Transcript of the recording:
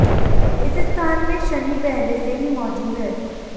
इस स्थान में शनि पहले से ही मौजूद है